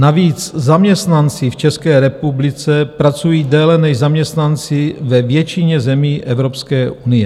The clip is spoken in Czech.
Navíc zaměstnanci v České republice pracují déle než zaměstnanci ve většině zemí Evropské unie.